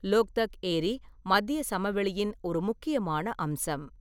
லோக்தக் ஏரி மத்தியச் சமவெளியின் ஒரு முக்கியமான அம்சம்.